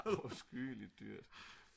det er afskyeligt dyrt